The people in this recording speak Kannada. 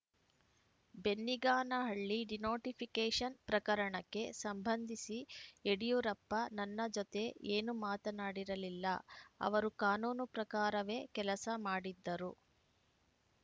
ಬೆನ್ನಿಗಾನಹಳ್ಳಿ ಡಿನೋಟಿಫಿಕೇಷನ್‌ ಪ್ರಕರಣಕ್ಕೆ ಸಂಬಂಧಿಸಿ ಯಡಿಯೂರಪ್ಪ ನನ್ನ ಜೊತೆ ಏನೂ ಮಾತನಾಡಿರಲಿಲ್ಲ ಅವರು ಕಾನೂನು ಪ್ರಕಾರವೇ ಕೆಲಸ ಮಾಡಿದ್ದರು